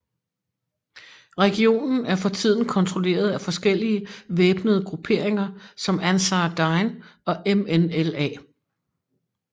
Regionen er for tiden kontrolleret af forskellige væbnede grupperinger som Ançar Dine og MNLA